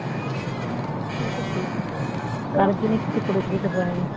সে তো ঠিকই কারোর জন্যে কিছু করে যেতে পারেনি